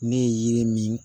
Ne ye yiri min